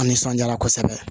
A nisɔnjaara kosɛbɛ